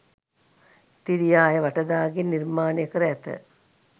තිරියාය වටදාගෙය නිර්මාණය කර ඇත.